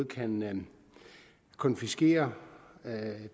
kan konfiskere